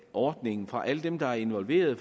ordningen fra alle dem der er involveret